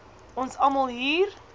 ons almal hier